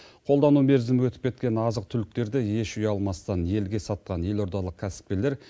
қолдану мерзімі өтіп кеткен азық түліктерді еш ұялмастан елге сатқан елордалық кәсіпкерлер